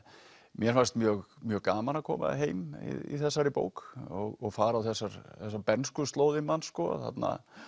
mér fannst mjög mjög gaman að koma heim í þessari bók og fara á þessar bernskuslóðir manns þarna